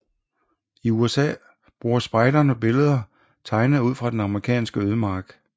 I USA bruger spejderne billeder tegnet ud fra den amerikanske ødemark